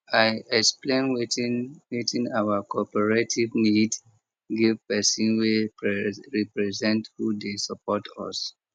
i explain wetin wetin our cooperative need give person wey represent who dey support us